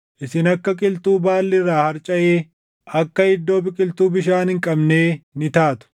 Isin akka qilxuu baalli irraa harcaʼee, akka iddoo biqiltuu bishaan hin qabnee ni taatu.